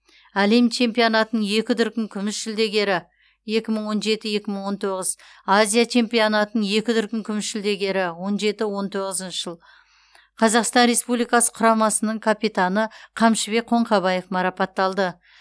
әлем чемпионатының екі дүркін күміс жүлдегері екі мың он жеті екі мың он тоғыз азия чемпионатының екі дүркін күміс жүлдегері он жеті он тоғызыншы жыл қазақстан республикасы құрамасының капитаны қамшыбек қоңқабаев марапатталды